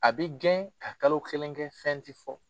A bi gɛn ka kalo kelen kɛ fɛn ti fɔ.